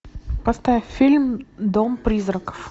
поставь фильм дом призраков